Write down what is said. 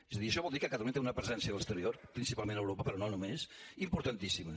és a dir això vol dir que catalunya té una presència a l’exterior principalment a europa però no només importantíssima